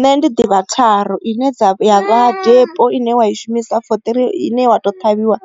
Nṋe ndi ḓivha tharu ine ya vha depo ine wa i shumisa fo ine wa to ṱhavhiwa